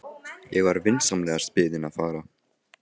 Ég var vinsamlegast beðinn að fara.